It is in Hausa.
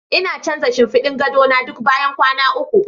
Ina canza shinfiɗin gado na duk bayan kwana uku.